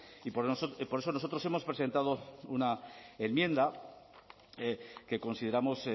y por eso nosotros hemos presentado una enmienda que consideramos